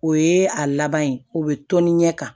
O ye a laban ye o bɛ tɔni ɲɛ kan